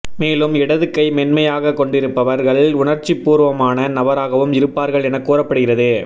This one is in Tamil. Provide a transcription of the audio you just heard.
மேலும் இடது கை மென்மையாக கொண்டிருப்பவர்கள் உணர்ச்சிப்பூர்வமானநபராகவும் இருப்பார்கள் என கூறப்படுகிறது